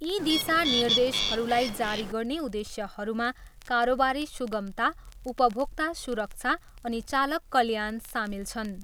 यी दिशा निर्देशहरूलाई जारी गर्ने उद्देश्यहरूमा कारोबारी सुगमता, उपभोक्ता सुरक्षा अनि चालक कल्याण सामेल छन्।